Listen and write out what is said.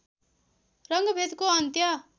रङ्गभेदको अन्त्य